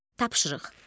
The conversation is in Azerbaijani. Tapşırıq.